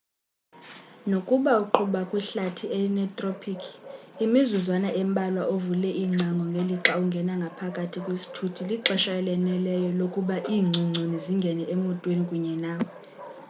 nokuba uqhuba kwihlathi elinethropikhi imizuzwana embalwa uvule iingcango ngelixa ungena ngaphakathi kwisithuthi lixesha elaneleyo lokuba iingcongconi zingene emotweni kunye nawe